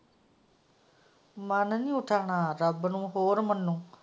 ਮਨ ਨਹੀਂ ਉੱਠਣਾ ਰੱਬ ਨੂੰ ਹੋਰ ਮਨੋ।